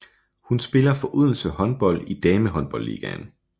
Hun spiller for Odense Håndbold i Damehåndboldligaen